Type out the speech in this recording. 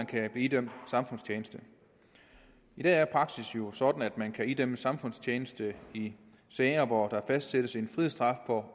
kan blive idømt samfundstjeneste i dag er praksis jo sådan at man kan idømmes samfundstjeneste i sager hvor der fastsættes en frihedsstraf på